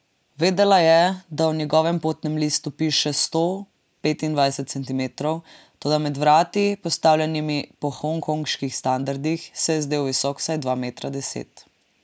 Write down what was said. Vedela je, da v njegovem potnem listu piše sto petindevetdeset centimetrov, toda med vrati, postavljenimi po hongkonških standardih, se je zdel visok vsaj dva metra deset.